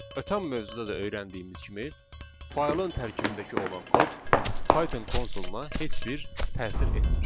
Ötən mövzuda da öyrəndiyimiz kimi faylın tərkibindəki olan kod Python konsoluna heç bir təsir etmir.